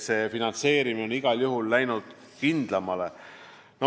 Finantseerimine on igal juhul läinud kindlamaks.